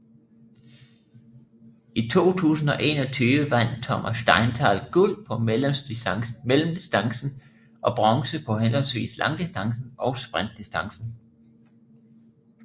I 2021 vandt Thomas Steinthal guld på mellemdistancen og bronze på henholdsvis langdistancen og sprintdistancen